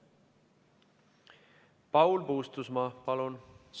Paul Puustusmaa, palun!